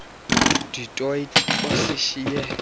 du toit osishiye